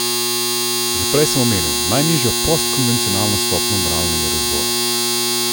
Že prej sem omenil, najnižjo postkonvencionalno stopnjo moralnega razvoja.